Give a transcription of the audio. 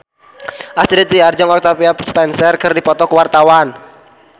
Astrid Tiar jeung Octavia Spencer keur dipoto ku wartawan